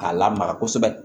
K'a lamaga kosɛbɛ